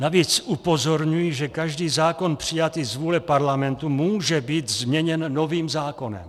Navíc upozorňují, že každý zákon přijatý z vůle Parlamentu může být změněn novým zákonem.